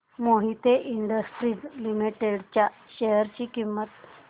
Mohit industries limited च्या share ची किंमत